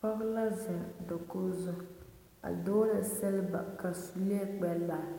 Pɔg la zeng dakogi zu a dogli silba ka sulee kpɛ lari